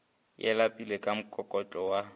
ya lepelle ka mokokotlo wa